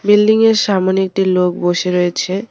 Building -এর সামোনে একটি লোক বসে রয়েছে।